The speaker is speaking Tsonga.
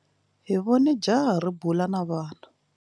Hi vone jaha ri bula na vana.